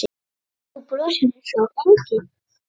Þú brosir einsog engill.